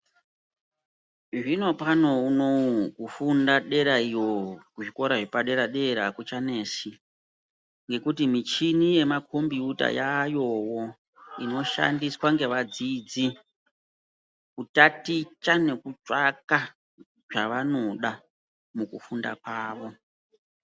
Zvinopano unowu, kufunda dera iyo, kuzvikora zvepadera-dera akuchanesi, ngekuti michhini yemakhombiyuta yaayowo, inoshandiswa ngevadzidzi, kutaticha ne kutsvaka zvevanoda, mukufunda kwavo.